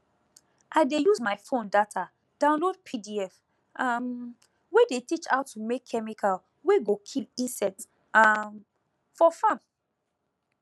i dey use my fon data download pdf um wey teach how to make chemical wey go kill insect um for farm